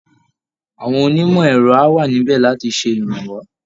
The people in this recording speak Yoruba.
Àwọn onímọ̀ ẹ̀rọ á wà níbẹ̀ láti ṣèrànwọ́